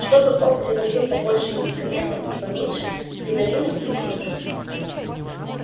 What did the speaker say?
чтобы он привозил побольше медикаментов и поменьше кринолинов и кружев